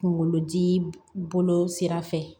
Kungolo dii bolo sira fɛ